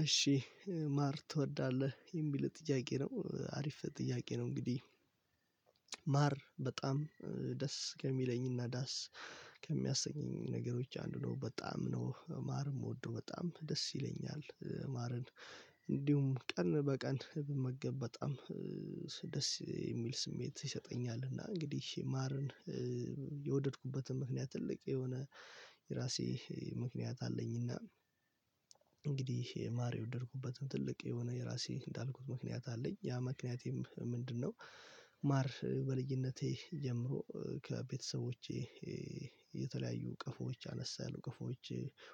እሺ ማር ትወዳለህ የሚል ጥያቄ ነው አሪፍ ጥያቄ ነው። እንግዲህ ማር በጣም ደስ ከሚለኝና ዳስ ከሚያሰኘኝ ነገሮች አንዱ ነው። በጣም ነው ማር የምወደው በጣም ደስ ይለኛል። ማርን እንዲሁም ቀን በቀን በመገብ በጣም ደስ የሚል ስሜት ይሰጠኛል። እና እንግዲህ ማርን የወደድኩበትን ምክንያት ትልቅ የሆነ የራሴ ምክንያት አለኝና። እንግዲህ የማር የወደድኩበትን ትልቅ የሆነ የራሴ እንዳልኩት ምክንያት አለኝ ያ ምክንያቴም ምንድነው? ማር በልዩነቴ ጀምሮ ከቤተሰቦቼ የተለያዩ እቅፎች አነሳለሁ ከፎዎች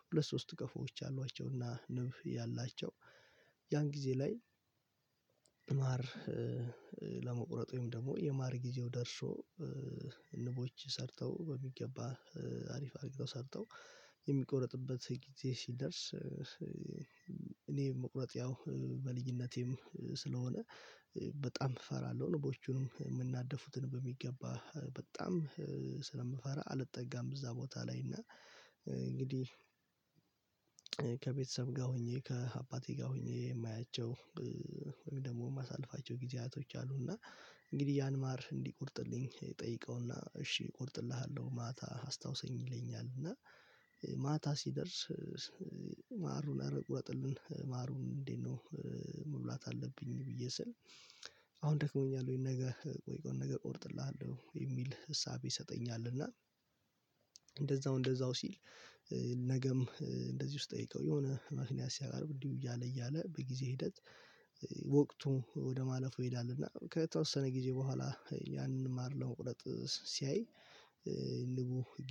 ሁለት ሶስት ከፎዎች አሏቸውና ንብ ያላቸው ያን ጊዜ ላይ። ማር ለመቁረጥ ወይም ደግሞ የማር ጊዜው ደርሶ ንቦች ሰርተው በሚገባ አሪፍ አድርገው ሰርተው የሚቆረጥበት ጊዜ ሲደርስ። እኔ መቁረጥ ያው በልጅነቴም ስለሆነ በጣም እፈራለሁ ነቦቹንም የምናደፉትን በሚገባ በጣም ስለምፈራ አልጠጋም እዛ ቦታ ላይ እና። እንግዲህ ከቤተሰብ ጋር ሆኜ ከአባቴ ጋር ሆኜ የማያቸው ወይም ደግሞ ማሳለፋቸው ጊዜያቶች አሉ። እና እንግዲህ ያን ማር እንዲቆርጥልኝ ጠይቀውና እሺ እቆርጥልሃለሁ ማታ አስታውሰኝ ይለኛል እና ማታ ሲደርስ ማሩን ኧረ ቁረጥልን ማሩን እንዴት ነው? መብላት አለብኝ ብዬ ስል አሁን ደክሞኛል ወይም ነገ ቆይ ቆይ ነገ ቆርጥልሃለሁ የሚል ህሳቤ ይሰጠኛል። እና እንደዛው እንደዛው ሲል ነገም እንደዚህ ውስጥ ጠይቀው የሆነ ምክንያት ሲያቃርብ እንዲሁ እያለ እያለ በጊዜ ሂደት ወቅቱ ወደ ማለፉ ይሄዳል። እና ከተወሰነ ጊዜ በኋላ ያንን ማር ለመቁረጥ ሲያይ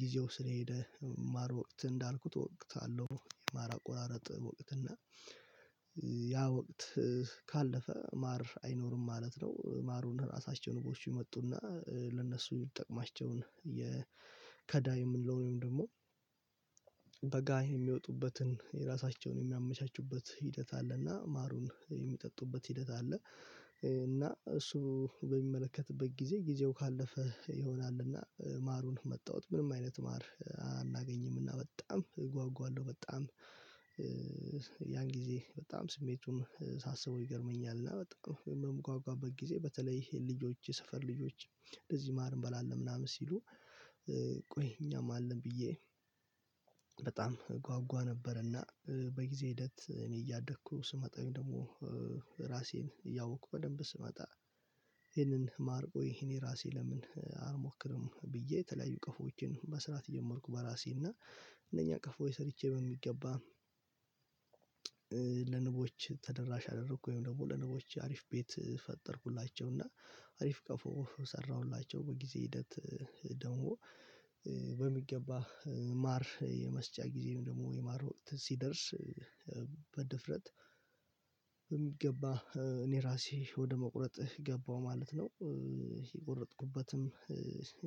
ጊዜው ስለ ሄደ ማር ወቅት እንዳልኩት ወቅት አለው የማር አቆራረጥ ወቅት እና ያ ወቅት ካለፈ ማር አይኖርም ማለት ነው። ማሩን ራሳቸውን ንቦች ይመጡና ለነሱ ይጠቅማቸውን የከዳ የምንለው ወይም ደግሞ በጋይ የሚወጡበትን የራሳቸውን የሚያመቻቹበት ሂደት አለ እና ማሩን የሚጠጡበት ሂደት አለ። እና እሱ በሚመለከትበት ጊዜ ጊዜው ካለፈ ይሆናልና ማሩን መጣሁት ምንም አይነት ማር አናገኝም እና በጣም እጓጓለሁ በጣም። ያን ጊዜ በጣም ስሜቱን ሳስበው ይገርመኛል እና በጣም ነው የምጓጓበት ጊዜ በተለይ ይሄ ልጆች የሰፈር ልጆች ለዚህ ማር እንበላለን ምናምን ሲሉ ቆይ እኛም አለን ብዬ በጣም ጓጓ ነበረና። በጊዜ ሂደት እኔ እያደግኩ ስመጣኝ ደግሞ ራሴን እያወቅኩ በደንብ ስመጣ። ይሄንን ማርቆ ይሄን ራሴ ለምን አልሞክርም ብዬ የተለያዩ ቀፎዎችን መስራት የጀመርኩ በራሴ እና። እነኛ ቀፎ ሰርቼ በሚገባ ለንቦች ተደራሽ አደረኩ ወይም ደግሞ ለንቦች አሪፍ ቤት ፈጠርኩላቸው። እና አሪፍ ቀፎ ሰራሁላቸው በጊዜ ሂደት ደግሞ በሚገባ ማር የመስጫ ጊዜም ደግሞ የማር ወቅት ሲደርስ በድፍረት የሚገባ እኔ ራሴ ወደ መቁረጥ ገባሁ ማለት ነው። የቆረጥኩበትም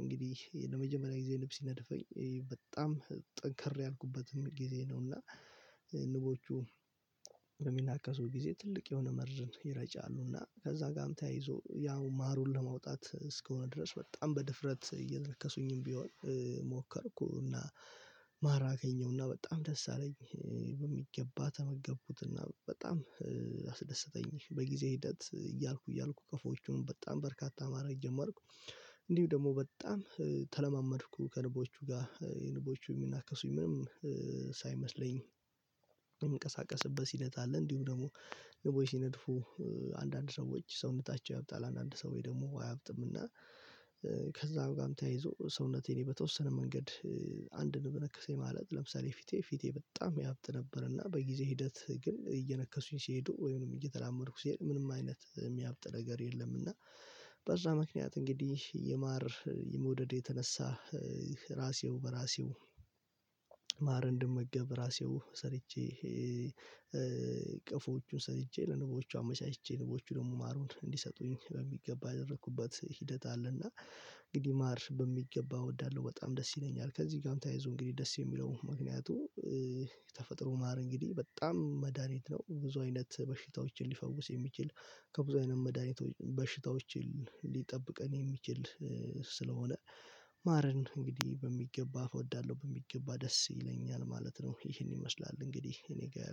እንግዲህ ለመጀመሪያ ጊዜ ንብስ ይነድፈኝ በጣም ጠንከር ያልኩበትም ጊዜ ነው። እና ንቦቹ በሚናከሱ ጊዜ ትልቅ የሆነ መርዝን ይረጫሉ እና ከዛ ጋርም ተያይዞ ያው ማሩን ለማውጣት እስከሆነ ድረስ በጣም በድፍረት እየነከሱኝም ቢሆን ሞከርኩ። እና ማራ አገኘሁና በጣም ደስ አለኝ በሚገባ ተመገቡትና በጣም አስደሰተኝ። በጊዜ ሂደት እያልኩ እያልኩ ከፎቹን በጣም በርካታ ማረግ ጀመርኩ። እንዲሁ ደግሞ በጣም ተለማመድኩ ከንቦቹ ጋር የንቦቹ የሚናከሱኝ ምንም ሳይመስለኝ የሚንቀሳቀስበት ሂደት አለ። እንዲሁ ደግሞ ንቡይ ሲነድፉ አንዳንድ ሰዎች ሰውነታቸው ያብጣል አንዳንድ ሰውዬ ደግሞ አያብጥምና። ከዛ ጋርም ተያይዞ ሰውነቴን በተወሰነ መንገድ አንድ ንብ ነከሰኝ ማለት ለምሳሌ ፊቴ ፊቴ በጣም ያብት ነበርና በጊዜ ሂደት ግን እየነከሱኝ ሲሄዱ ወይንም እየተላመድኩ ሲሄድ ምንም አይነት የሚያብጥ ነገር የለም። እና በዛ ምክንያት እንግዲህ የማር የመውደድ የተነሳ ራሴው በራሴው ማር እንድመገብ ራሴው ሰርቼ ቅፎቹን ሰርቼ ለንቦቹ አመቻችቼ ንቦቹ ደግሞ ማሩን እንዲሰጡኝ በሚገባ አደረኩበት ሂደት አለና። እንግዲህ ማር በሚገባ እወዳለሁ በጣም ደስ ይለኛል። ከዚህ ጋርም ተያይዞ እንግዲህ ደስ የሚለው ምክንያቱ ተፈጥሮ ማር እንግዲህ በጣም መድሃኒት ነው። ብዙ አይነት በሽታዎችን ሊፈውስ የሚችል ከብዙ አይነት መድኃኒቶች በሽታዎች ሊጠብቀን የሚችል ስለሆነ። ማረን እንግዲህ በሚገባ እወዳለሁ በሚገባ ደስ ይለኛል ማለት ነው። ይሄን ይመስላል እንግዲህ እኔ ጋር